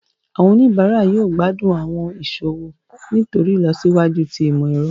Awọn onibara yóò gbadun awọn iṣowo nitori ilosiwaju ti imọ-ẹrọ.